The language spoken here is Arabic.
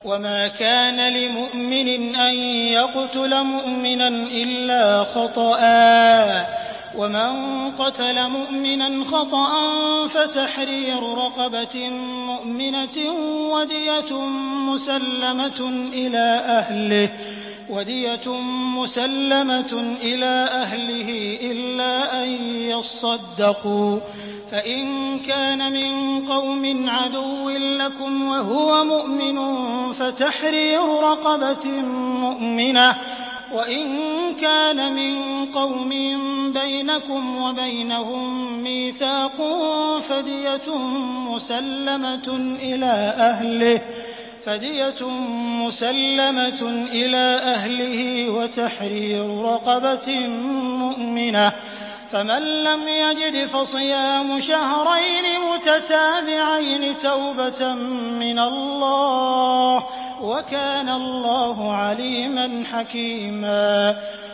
وَمَا كَانَ لِمُؤْمِنٍ أَن يَقْتُلَ مُؤْمِنًا إِلَّا خَطَأً ۚ وَمَن قَتَلَ مُؤْمِنًا خَطَأً فَتَحْرِيرُ رَقَبَةٍ مُّؤْمِنَةٍ وَدِيَةٌ مُّسَلَّمَةٌ إِلَىٰ أَهْلِهِ إِلَّا أَن يَصَّدَّقُوا ۚ فَإِن كَانَ مِن قَوْمٍ عَدُوٍّ لَّكُمْ وَهُوَ مُؤْمِنٌ فَتَحْرِيرُ رَقَبَةٍ مُّؤْمِنَةٍ ۖ وَإِن كَانَ مِن قَوْمٍ بَيْنَكُمْ وَبَيْنَهُم مِّيثَاقٌ فَدِيَةٌ مُّسَلَّمَةٌ إِلَىٰ أَهْلِهِ وَتَحْرِيرُ رَقَبَةٍ مُّؤْمِنَةٍ ۖ فَمَن لَّمْ يَجِدْ فَصِيَامُ شَهْرَيْنِ مُتَتَابِعَيْنِ تَوْبَةً مِّنَ اللَّهِ ۗ وَكَانَ اللَّهُ عَلِيمًا حَكِيمًا